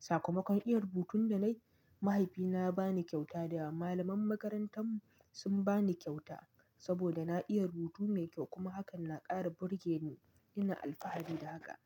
Sakamakon iya rubutun da na yi, mahaifina ya ba ni kyauta da malaman makarantar sun ba ni kyauta saboda na iya rubutu mai kyau kuma hakan na ƙara burge ni ina alfahari da haka.